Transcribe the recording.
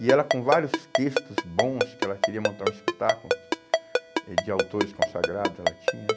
E ela com vários textos bons, que ela queria montar um espetáculo eh de autores consagrados, ela tinha, né?